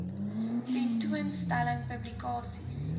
tentoon stellings publikasies